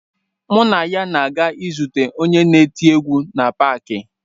Mụ na ya na-aga izute onye na-eti egwu na paakị.